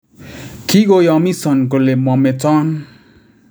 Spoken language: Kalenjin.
Kigoyomison kole mometon